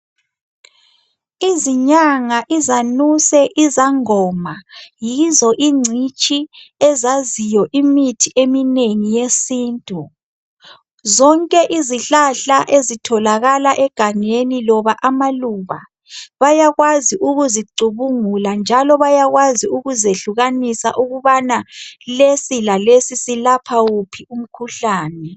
Izinyanga, izanuse, izangoma yizo ingcitshi ezaziyo imithi eminengi yesintu. Zonke izihlahla ezitholakala egangeni loba amaluba bayakwazi ukuzicubungula njalo bayakwazi ukuzehlukanisa ukubana lesi lalesi silapha wuphi umkhuhlane.